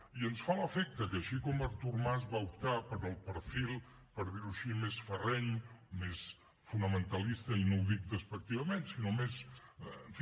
i ens fa l’efecte que així com artur mas va optar pel perfil per dir ho així més ferreny més fonamentalista i no ho dic despectivament sinó més en fi